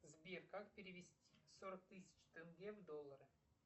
сбер как перевести сорок тысяч тенге в доллары